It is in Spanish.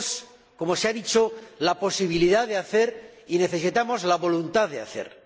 tenemos, como se ha dicho, la posibilidad de hacer y necesitamos la voluntad de hacer.